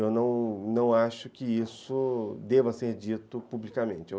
Eu não não acho que isso deva ser dito publicamente.